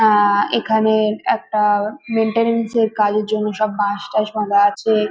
আহ এখানে একটা মেইন্টেনেন্স -এর কাজের জন্য সব বাঁশ টাশ বাঁধা আছে ।